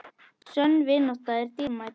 Sönn vinátta er dýrmæt.